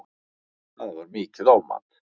Það var mikið ofmat